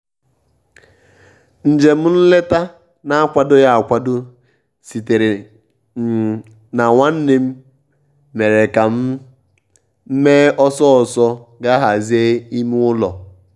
um njem nleta a na-akwadoghị akwado sitere um na nwannem mere ka m um mee ọsọ ọsọ gaa hazie ime ụ́lọ́.